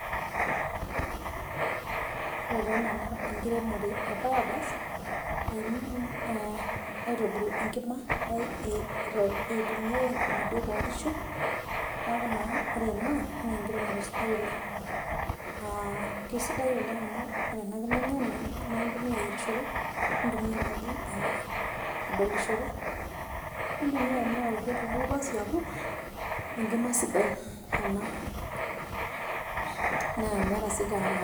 Ore taa ena inkiremore e biogas i mean aitobiru enkima aitumiya moduok onkishu naaku naa ore ina naa inkiremore sidai oleng, kesidai oleng amuore ana inkima enye naa intumiya ayerishore, nintumiya naji adolishore, nintumiya neosheki pasi amu enkima sidai ena naa meeta si gharama.